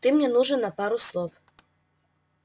ты мне нужен на пару слов